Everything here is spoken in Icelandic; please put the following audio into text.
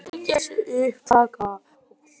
Nærri milljarður í hagnað